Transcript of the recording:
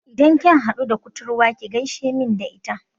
Idan kin haɗu da kuturwar ki gaishe main da ita